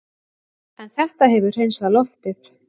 En þetta hefur hreinsað loftið